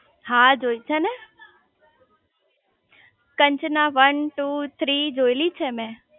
હા જોઈ છે કંચના વન ટુ થ્રી જોયેલી છે મેં